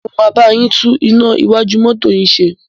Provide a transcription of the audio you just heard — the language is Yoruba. Mo máa bá yín tún iná iwájú mọ́tọ́ yín ṣe.